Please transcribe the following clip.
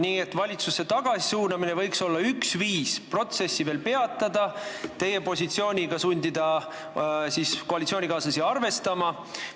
Nii et valitsusse tagasi suunamine võiks olla üks viis protsessi veel peatada, sundida koalitsioonikaaslasi teie positsiooniga arvestama.